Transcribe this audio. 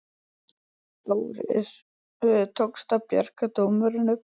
Þórir: Tókst að bjarga dómunum?